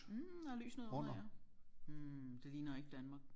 Mh og lys nedenunder ja hm det ligner ikke Danmark